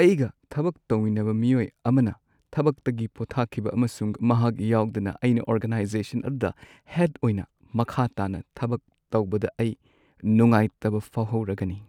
ꯑꯩꯒ ꯊꯕꯛ ꯇꯧꯃꯤꯟꯅꯕ ꯃꯤꯑꯣꯏ ꯑꯃꯅ ꯊꯕꯛꯇꯒꯤ ꯄꯣꯊꯥꯈꯤꯕ ꯑꯃꯁꯨꯡ ꯃꯍꯥꯛ ꯌꯥꯎꯗꯅ ꯑꯩꯅ ꯑꯣꯔꯒꯅꯥꯏꯖꯦꯁꯟ ꯑꯗꯨꯗ ꯍꯦꯗ ꯑꯣꯏꯅ ꯃꯈꯥ ꯇꯥꯅ ꯊꯕꯛ ꯇꯧꯕꯗ ꯑꯩ ꯅꯨꯡꯉꯥꯏꯇꯕ ꯐꯥꯎꯍꯧꯔꯒꯅꯤ꯫